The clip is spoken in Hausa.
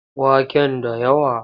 Waken da yawa?